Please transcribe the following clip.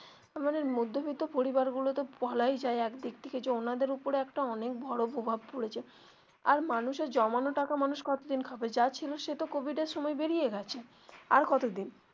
মানে মধ্যবিত্ত পরিবার গুলোতে বলাই যায় একদিক থেকে যে ওনাদের ওপরে অনেক বড়ো একটা প্রভাব পড়েছে আর মানুষের জমানো টাকা মানুষ কত দিন খাবে যা ছিল সেতো কোভিড এর সময় বেরিয়ে গেছে আর কত দিন.